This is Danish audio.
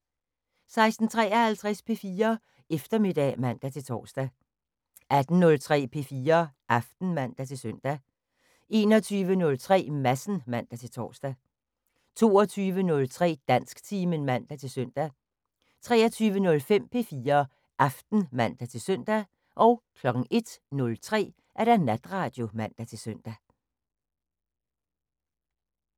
16:53: P4 Eftermiddag (man-tor) 18:03: P4 Aften (man-søn) 21:03: Madsen (man-tor) 22:03: Dansktimen (man-søn) 23:05: P4 Aften (man-søn) 01:03: Natradio (man-søn)